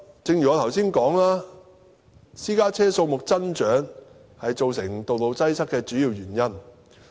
正如我剛才所說，私家車數目增長是道路擠塞的主因。